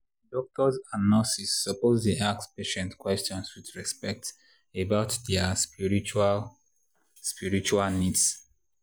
doctors and nurses suppose dey ask patients question with respect about their spiritual spiritual needs.